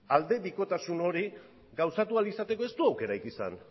aldebikotasun hori gauzatu ahal izateko ez du aukerarik izan